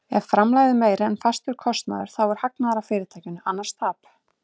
Ef framlegð er meiri en fastur kostnaður þá er hagnaður af fyrirtækinu, annars tap.